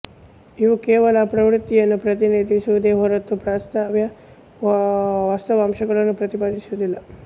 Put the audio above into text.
ಇವು ಕೇವಲ ಪ್ರವೃತ್ತಿಯನ್ನು ಪ್ರತಿನಿಧಿಸುವುದೇ ಹೊರತು ವಾಸ್ತವ ಅಂಶಗಳನ್ನು ಪ್ರತಿಪಾದಿಸುವುದಿಲ್ಲ